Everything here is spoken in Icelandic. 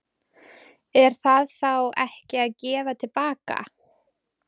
Er það þá ekki að gefa til baka?